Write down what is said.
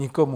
Nikomu.